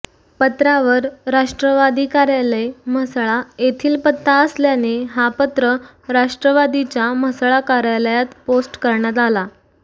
पत्रावर राष्ट्रवादी कार्यालय म्हसळा येथिल पत्ता असल्याने हा पत्र राष्ट्रवादीच्या म्हसळा कार्यालयात पोस्ट करण्यात आला